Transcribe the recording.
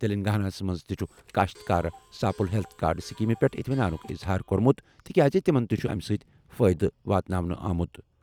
تیٚلنٛگاناہس منٛز تہِ چُھ کٔاشتکار ساپُل ہیٚلتھ کارڈ سٕکیٖمہِ پٮ۪ٹھ اطمینانُک اِظہار کوٚرمُت تِکیازِ تِمَن تہِ چُھ اَمیُ سۭتی فأیدہ واتناونہٕ آمتُ۔